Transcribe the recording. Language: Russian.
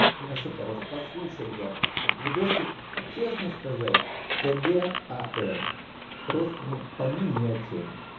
ну что-то раз послушал я тут видосик честно сказать кг ам просто ну по мне ни о чём